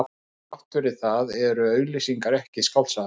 En þrátt fyrir það eru auglýsingar ekki skáldskapur.